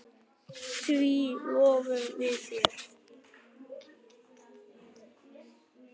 Því lofum við þér!